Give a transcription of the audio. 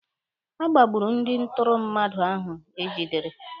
A gbagburu ndị ntụrụ mmadụ ahụ egidere.